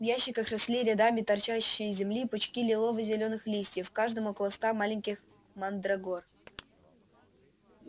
в ящиках росли рядами торчащие из земли пучки лилово-зелёных листьев в каждом около ста маленьких мандрагор